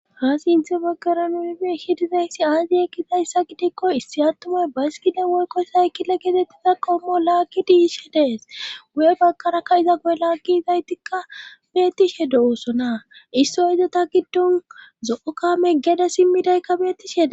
Ha sinthe baggara nunibe shidizayssi aazi ekkizayssa gidikko issi attumay baskida woyko saykila getettiza qommo laakki diishe dees guye bagkarakka iza ge la gi izaytikka beettishe do oosona issoy iza ta giddon zo7o kame geda simmidaykka betishe ..